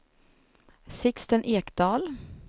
Sixten Ekdahl